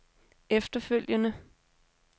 efterfølgende